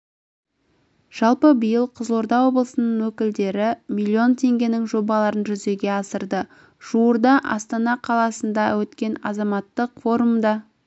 жалпы биыл қызылорда облысында өкілдері миллион теңгенің жобаларын жүзеге асырды жуырда астана қаласында өткен азаматтық форумда